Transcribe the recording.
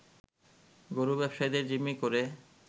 গরু ব্যবসায়ীদের জিম্মি করে